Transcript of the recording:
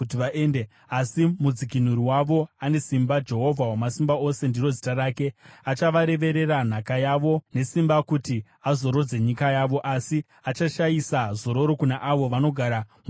Asi mudzikinuri wavo ane simba; Jehovha Wamasimba Ose ndiro zita rake. Achavareverera nhaka yavo nesimba kuti azorodze nyika yavo, asi achashayisa zororo kuna avo vanogara muBhabhironi.